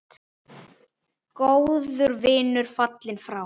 Góður vinur fallinn frá.